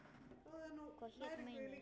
Hvað hét meinið?